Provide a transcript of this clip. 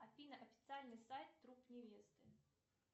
афина официальный сайт труп невесты